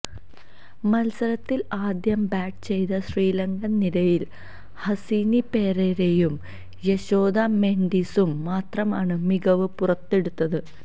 മത്സരത്തില് ആദ്യം ബാറ്റ് ചെയ്ത ശ്രീലങ്കന് നിരയില് ഹസിനി പെരേരയും യശോദ മെന്ഡിസും മാത്രമാണ് മികവ് പുറത്തെടുത്തത്